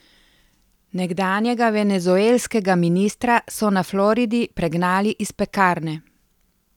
Nekdanjega venezuelskega ministra so na Floridi pregnali iz pekarne.